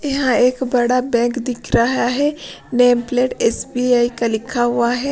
यहां एक बड़ा बैंक दिख रहा है नेम प्लेट एसबीआई का लिखा हुआ है।